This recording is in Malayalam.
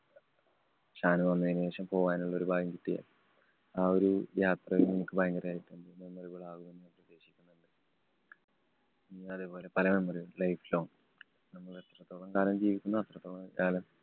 ഷാനു വന്നതിനു ശേഷം പോകാനുള്ള ഒരു ഭാഗ്യം കിട്ടിയാല്‍ ആ ഒരു യാത്രയും നമുക്ക് ഭയങ്കര memmorable ആകുമെന്ന് പ്രതീക്ഷിക്കുന്നു. ഇനി അതുപോലെ പല memory കളും life long നമ്മള് എത്രത്തോളം കാലം ജീവിക്കുന്നുവോ അത്രത്തോളം കാലം